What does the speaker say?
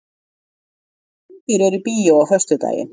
Snæbjörn, hvaða myndir eru í bíó á föstudaginn?